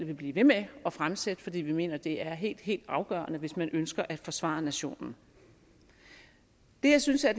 vil blive ved med at fremsætte fordi vi mener det er helt helt afgørende hvis man ønsker at forsvare nationen det jeg synes er